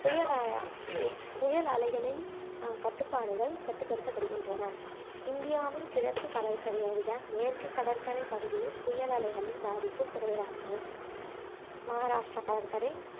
புயல் புயல் அலைகளின் அஹ் கட்டுபாடுகள் கட்டுபடுத்தப்படுகின்றன இந்தியாவின் கிழக்கு கடற்கரையை விட மேற்கு கடற்கரை பகுதியில் புயல் அலைகளின் பாதிப்பு குறைவாகும் மகாராஷ்டிரா கடற்கரை